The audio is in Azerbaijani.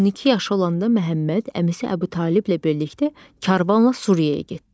12 yaşı olanda Məhəmməd əmisi Əbu Taliblə birlikdə karvanla Suriyaya getdi.